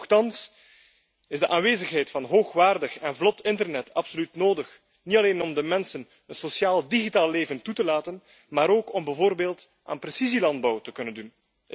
Toch is de aanwezigheid van hoogwaardig en vlot internet absoluut nodig, niet alleen om de mensen een sociaal digitaal leven toe te staan, maar ook om bijvoorbeeld aan precisielandbouw te kunnen doen.